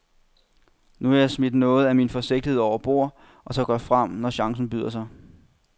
Nu har jeg smidt noget af min forsigtighed overbord og tør gå med frem, når chancen byder sig.